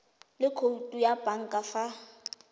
le khoutu ya banka fa